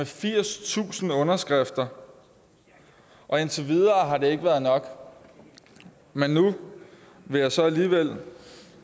firstusind underskrifter og indtil videre har det ikke været nok men nu vil jeg så alligevel